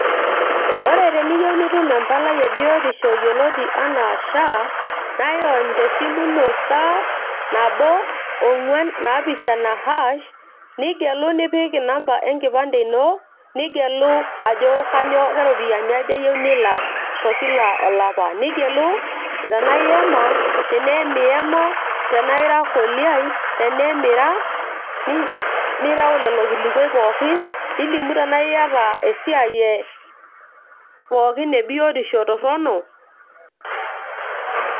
ore teniyiru nitum empalai e biotisho yioloti enaa SHA naa irony tesimu ino star nabo ong'uan naapishana hash, nigelu nipik inamba enkipande ino nigelu ajo kanyoo keropiani aja iyieu nilak tokila olapa nigelu tenaa iyama tenee emiyama tenaa ira koliai teneemira, nirew lelo kilikuai pookin nilimu tenaa iyata esiai e pookin e biotisho torrono.